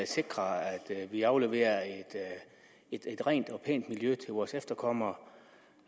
sikre at vi afleverer et rent og pænt miljø til vores efterkommere